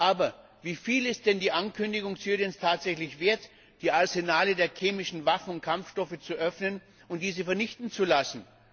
Aber wie viel ist denn die Ankündigung Syriens tatsächlich wert, die Arsenale der chemischen Waffen und Kampfstoffe zu öffnen und diese vernichten zu lassen?